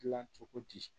Dilan cogo di